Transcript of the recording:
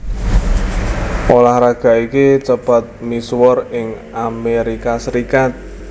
Ulah raga iki cepet misuwur ing Amerika Serikat